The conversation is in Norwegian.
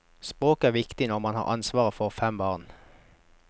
Språket er viktig når man har ansvar for fem barn.